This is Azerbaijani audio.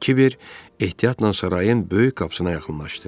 Kiber ehtiyatla sarayın böyük qapısına yaxınlaşdı.